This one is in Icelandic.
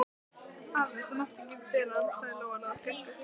Afi, þú mátt ekki bera hann, sagði Lóa Lóa skelkuð.